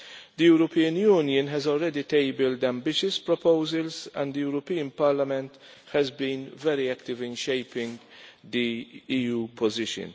The European Union has already tabled ambitious proposals and the European Parliament has been very active in shaping the EU position.